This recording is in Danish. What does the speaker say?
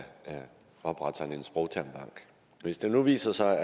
oprette sådan en sprogtermbank hvis det nu viser sig